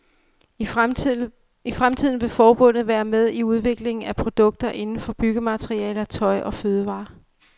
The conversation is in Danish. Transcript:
I fremtiden vil forbundet være med i udviklingen af produkter inden for byggematerialer, tøj og fødevarer.